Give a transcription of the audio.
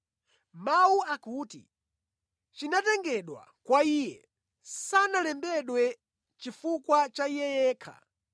Mawu akuti, “chinatengedwa kwa iye” sanalembedwe chifukwa cha iye yekha,